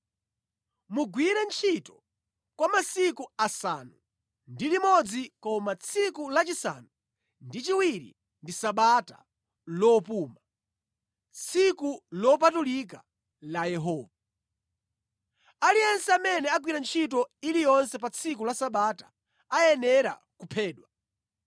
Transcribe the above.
Mugwire ntchito kwa masiku asanu ndi limodzi koma tsiku lachisanu ndi chiwiri ndi Sabata, lopuma, tsiku lopatulika la Yehova. Aliyense amene agwira ntchito iliyonse pa tsiku la Sabata ayenera kuphedwa.